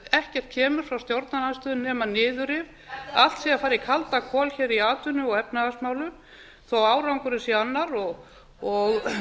ekkert kemur frá stjórnarandstöðunni nema niðurrif allt sé að fara í kaldakol hér í atvinnu og efnahagsmálum þó að árangurinn sé annar og